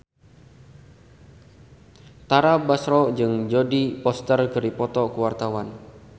Tara Basro jeung Jodie Foster keur dipoto ku wartawan